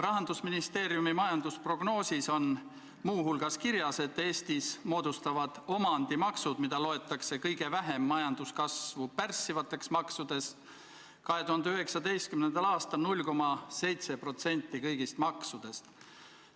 Rahandusministeeriumi majandusprognoosis on muu hulgas kirjas, et Eestis moodustavad omandimaksud, mida loetakse kõige vähem majanduskasvu pärssivateks maksudeks, 2019. aastal 0,7% kõigist maksudest.